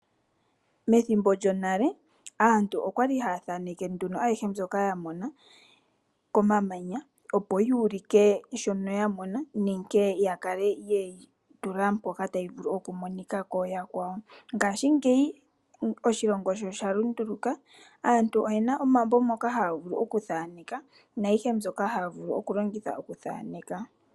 Methimbo lyonale aantu okwali ha ya thaneke nduno ayihe mbyoka ya mona komamanya opo yuulike shono ya mona nenge ya kale ye yi tula mpoka tayi vulu okumonika kuyakwawo. Ngashingeyi oshilongo sho sha lunduluka aantu oye na omambo moka haya vulu okuthaneka naayihe mbyoka hayi vulu okuthaneka.